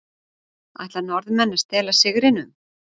Ætla Norðmenn að stela sigrinum???